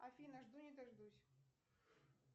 афина жду не дождусь